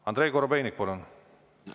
Andrei Korobeinik, palun!